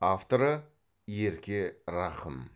авторы ерке рахым